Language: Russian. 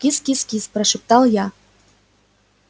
кис-кис-кис прошептал я